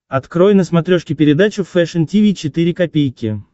открой на смотрешке передачу фэшн ти ви четыре ка